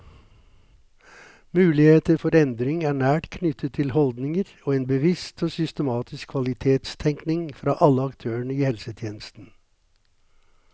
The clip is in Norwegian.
Muligheter for endring er nært knyttet til holdninger og en bevisst og systematisk kvalitetstenkning fra alle aktørene i helsetjenesten.